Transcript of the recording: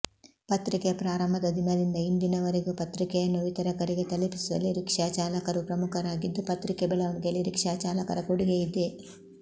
ಪತ್ರಿಕೆ ಪ್ರಾರಂಭದ ದಿನದಿಂದ ಇಂದಿನವರೆಗೂ ಪತ್ರಿಕೆಯನ್ನು ವಿತರಕರಿಗೆ ತಲುಪಿಸುವಲ್ಲಿ ರಿಕ್ಷಾ ಚಾಲಕರೂ ಪ್ರಮುಖರಾಗಿದ್ದು ಪತ್ರಿಕೆ ಬೆಳವಣಿಗೆಯಲ್ಲಿ ರಿಕ್ಷಾ ಚಾಲಕರ ಕೊಡುಗೆಯಿದೆ